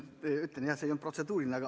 Ma ütlen ka, et see ei olnud protseduuriline.